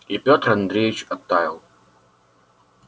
и пётр андреевич оттаял